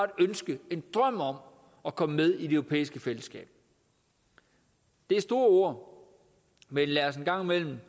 ønske en drøm om at komme med i det europæiske fællesskab det er store ord men lad os en gang imellem